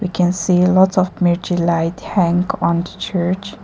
We can see lots of mirchi light hang on the church.